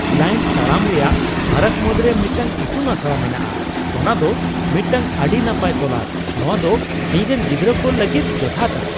Client "ᱛᱟᱲᱟᱢ ᱨᱮᱭᱟᱜ ᱯᱷᱟᱨᱟᱠ ᱢᱩᱫᱽᱨᱮ ᱢᱤᱫᱴᱟᱝ ᱤᱛᱩᱱ ᱟᱥᱲᱟ ᱢᱮᱱᱟᱜᱼᱟ ᱚᱱᱟ ᱫᱚ ᱢᱤᱫᱴᱟᱝ ᱟᱹᱰᱤ ᱱᱟᱯᱟᱭ ᱛᱚᱞᱟᱥ ᱾ᱱᱚᱶᱟ ᱫᱚ ᱤᱧ ᱨᱮᱱ ᱜᱤᱫᱽᱨᱟᱹ ᱠᱚ ᱞᱟᱹᱜᱤᱫ ᱡᱚᱛᱷᱟᱛᱟ ᱾"